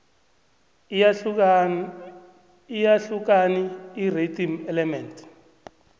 iyahlukani irhythm element